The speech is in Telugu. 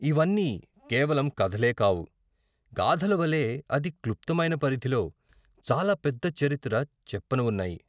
ఇవన్నీ కేవలం కథలే కావు, గాథలవలె అతి క్లుప్తమైన పరిధిలో చాలా పెద్ద చరిత్ర చెప్పనవున్నాయి.